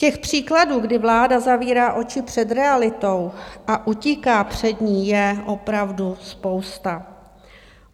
Těch příkladů, kdy vláda zavírá oči před realitou a utíká před ní, je opravdu spousta.